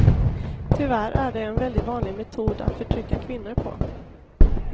Tyvärr är det en väldigt vanlig metod att förtrycka kvinnor på.